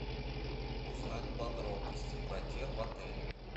узнать подробности про тир в отеле